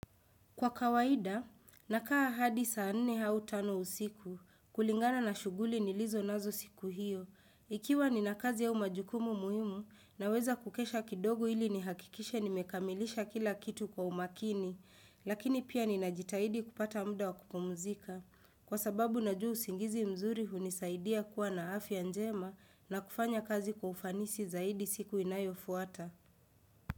Kwa kawaida, nakaa hadi saa nne hau tano usiku, kulingana na shughuli nilizo nazo siku hiyo. Ikiwa nina kazi au majukumu muhimu, naweza kukesha kidogo ili nihakikishe nimekamilisha kila kitu kwa umakini, lakini pia nina jitahidi kupata muda wa kupumzika. Kwa sababu na jua usingizi mzuri hunisaidia kuwa na afya njema na kufanya kazi kwa ufanisi zaidi siku inayo fuata.